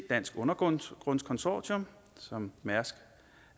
dansk undergrunds consortium som mærsk